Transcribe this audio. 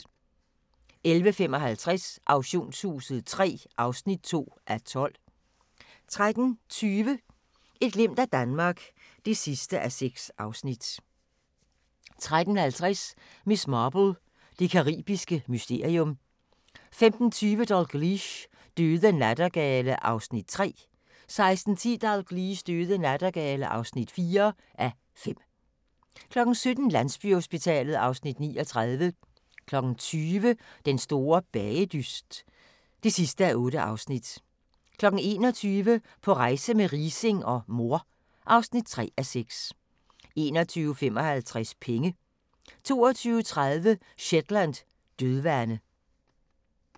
11:55: Auktionshuset III (2:12) 13:20: Et glimt af Danmark (6:6) 13:50: Miss Marple: Det caribiske mysterium 15:20: Dalgliesh: Døde nattergale (3:5) 16:10: Dalgliesh: Døde nattergale (4:5) 17:00: Landsbyhospitalet (Afs. 39) 20:00: Den store bagedyst (8:8) 21:00: På rejse med Riising og mor (3:6) 21:55: Penge 22:30: Shetland: Dødvande